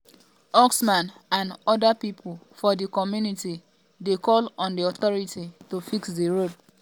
usman and oda pipo for di community dey call on di authority to fix di road